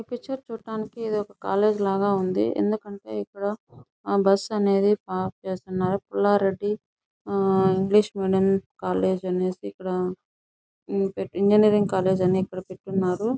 ఈ పిక్చర్ చూడటానికి ఇదొక కాలేజీ లాగా ఉంది ఎందుకంటే ఇక్కడ ఆ బస్సు అనేది పార్క్ చేసియున్నారు పుల్లారెడ్డి ఆ ఇంగ్లీష్ మీడియం కాలేజీ అనేసి ఇక్కడ ఇంజినీరింగ్ కాలేజీ అని ఇక్కడ పెట్టిఉన్నారు.